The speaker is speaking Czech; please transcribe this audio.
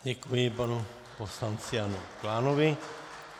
Děkuji panu poslanci Janu Klánovi.